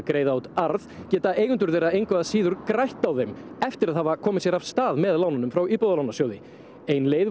greiða út arð geta eigendurnir engu að síður grætt á þeim eftir að hafa komist af stað með lánum frá Íbúðalánasjóði ein leið